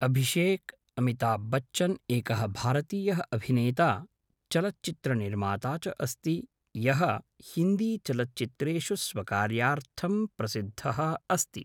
अभिषेक् अमिताभ् बच्चन् एकः भारतीयः अभिनेता चलच्चित्रनिर्माता च अस्ति यः हिन्दीचलच्चित्रेषु स्वकार्यार्थं प्रसिद्धः अस्ति।